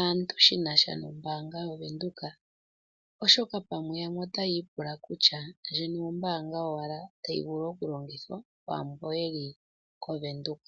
aantu shinasha nombaanga yaWindhoek, oshoka pamwe yamwe ota yiipula kutya yo yene ombaanga owala tayi vulu okulongithwa kwaamboka ye li koWindhoek.